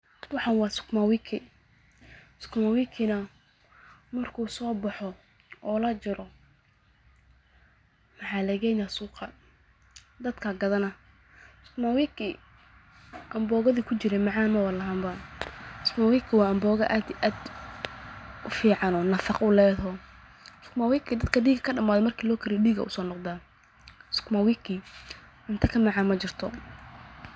Waxaana waa sukuma wiki, markuu soo baxo oo la Jaro, suuqa ayaa lageyna, dadka ayaa gadaana, cunto ka macaan majirto.